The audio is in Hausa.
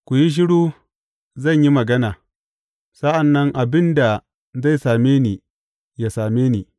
Ku yi shiru zan yi magana; sa’an nan abin da zai same ni yă same ni.